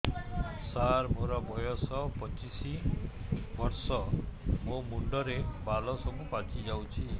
ସାର ମୋର ବୟସ ପଚିଶି ବର୍ଷ ମୋ ମୁଣ୍ଡରେ ବାଳ ସବୁ ପାଚି ଯାଉଛି